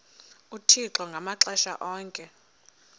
uthixo ngamaxesha onke